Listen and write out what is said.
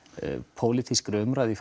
pólitískri umræðu í